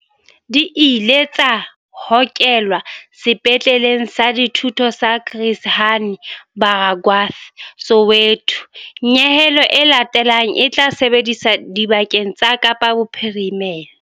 Di ile tsa hokelwa Sepetleleng sa Dithuto sa Chris Hani Baragwanath Soweto. Nyehelo e latelang e tla sebediswa dibakeng tsa Kapa Bophirimela.